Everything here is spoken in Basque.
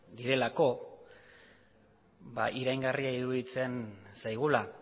direlako iraingarria iruditzen zaigula